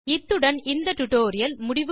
இத்துடன் இந்த டுடோரியல் முடிகிறது